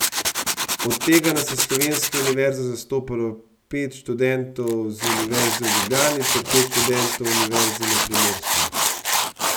Od tega nas je slovenske univerze zastopalo pet študentov z Univerze v Ljubljani ter pet študentov z Univerze na Primorskem.